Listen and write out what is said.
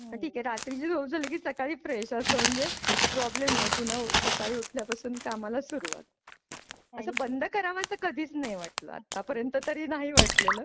अति रात्रीची झोप झाली की सकाळी फ्रेश असं म्हणजे प्रॉब्लेम नाही पुन्हा सकाळी उठल्या पासून कामाला सुरुवात. असं बंद कराव असं कधीच नाही वाटलं आतापर्यंत तरी नाही वाटलेल.